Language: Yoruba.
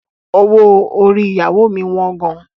Owó orí ìyàwó mi wọ́n gan.